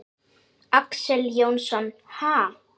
Axel Jónsson: Ha?